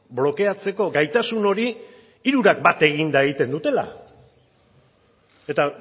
blokeatzeko gaitasun hori hirurak bat eginda egiten dutela eta